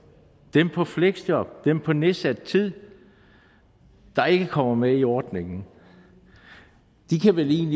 dem på fleksjob dem på nedsat tid der ikke kommer med i ordningen de kan vel